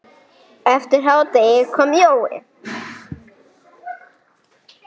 Eftir hádegi kom Jói.